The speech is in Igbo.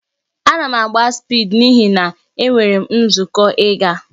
Ana m agba spịdi n'ihi na enwere m nzukọ ịga